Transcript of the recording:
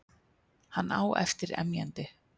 Hann á eftir emjandi.